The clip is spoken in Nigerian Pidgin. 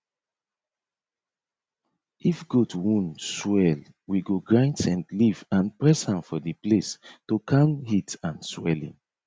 if goat wound swell we go grind scent leaf and press am for the place to calm heat and swelling